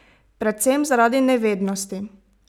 Predvsem zaradi nevednosti?